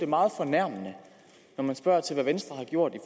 meget fornærmende når man spørger til hvad venstre har gjort i